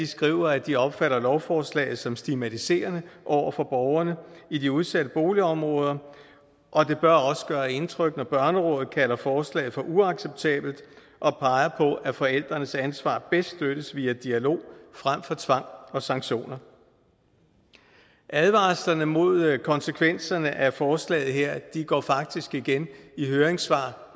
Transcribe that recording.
skriver at de opfatter lovforslaget som stigmatiserende over for borgerne i de udsatte boligområder og det bør også gøre indtryk når børnerådet kalder forslaget for uacceptabelt og peger på at forældrenes ansvar bedst støttes via dialog frem for tvang og sanktioner advarslerne mod konsekvenserne af forslaget her går faktisk igen i høringssvar